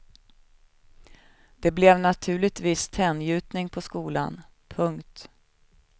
Det blev naturligtvis tenngjutning på skolan. punkt